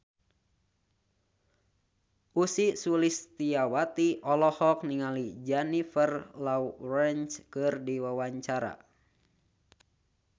Ussy Sulistyawati olohok ningali Jennifer Lawrence keur diwawancara